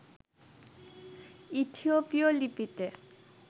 ইথিওপীয় লিপিতে